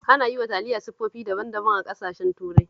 Ana yi wa taliya siffofi daban-daban a ƙasashen Turai